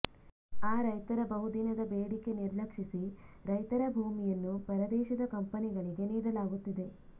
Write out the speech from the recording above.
ಆ ರೈತರ ಬಹುದಿನದ ಬೇಡಿಕೆ ನಿರ್ಲಕ್ಷಿಸಿ ರೈತರ ಭೂಮಿಯನ್ನು ಪರದೇಶದ ಕಂಪನಿಗಳಿಗೆ ನೀಡಲಾಗುತ್ತಿದೆ